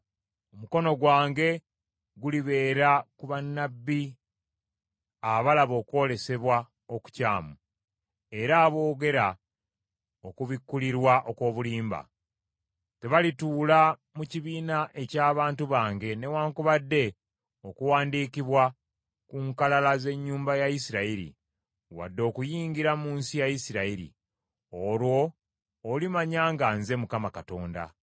Omukono gwange gulibeera ku bannabbi abalaba okwolesebwa okukyamu era aboogera okubikkulirwa okw’obulimba. Tebalituula mu kibiina eky’abantu bange newaakubadde okuwandiikibwa ku nkalala z’ennyumba ya Isirayiri, wadde okuyingira mu nsi ya Isirayiri. Olwo olimanya nga nze Mukama Katonda.